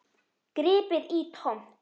Gripið í tómt.